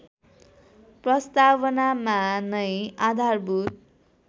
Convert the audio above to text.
प्रस्तावनामा नै आधारभूत